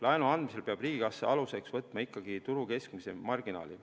Laenu andmisel peab riigikassa aluseks võtma ikkagi turu keskmise marginaali.